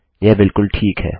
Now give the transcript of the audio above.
यह बिलकुल ठीक है